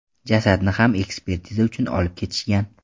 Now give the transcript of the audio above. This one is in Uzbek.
Jasadni ham ekspertiza uchun olib ketishgan.